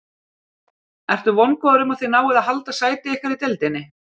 Ertu vongóður um að þið náið að halda sæti ykkar í deildinni?